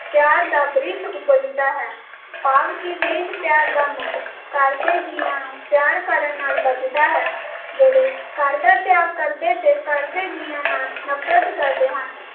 ਪਿਆਰ ਦਾ ਬ੍ਰਿਸ਼ ਉਪਜਦਾ ਹੈ ਭਾਵ ਕਿ ਦੇਸ਼ ਪਿਆਰ ਦਾ ਮੁੱਢ ਘਰ ਦੇ ਜੀਆਂ ਨੂੰ ਪਿਆਰ ਕਰਨ ਨਾਲ ਬੱਝਦਾ ਹੈ ਜਿਹੜੇ ਘਰ ਦਾ ਤਯਾਗ ਕਰਦੇ ਤੇ ਘਰ ਦੇ ਜੀਆਂ ਨਾਲ ਨਫਰਤ ਕਰਦੇ ਹਨ